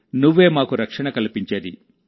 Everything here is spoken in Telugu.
నువ్వే మాకు రక్షణ కల్పించేది